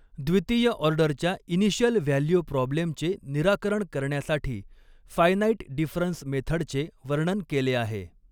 द्वितीय ऑर्डरच्या initial value प्रॉब्लेमचे निराकरण करण्यासाठी फ़ायनाईट डिफ़रन्स मेथडचे वर्णन केले आहे.